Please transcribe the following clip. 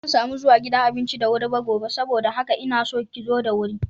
Bazan samu zuwa gidan abincin da wuri ba gobe saboda haka inaso ki zo da wuri.